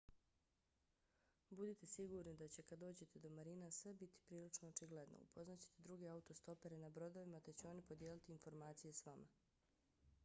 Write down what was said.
budite sigurni da će kad dođete do marina sve biti prilično očigledno. upoznat ćete druge autostopere na brodovima te će oni podijeliti informacije s vama